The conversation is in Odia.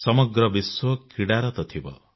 ସମଗ୍ର ବିଶ୍ୱ କ୍ରୀଡାରତ ଥିବ